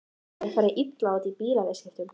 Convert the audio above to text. Annar hafði farið illa út úr bílaviðskiptum.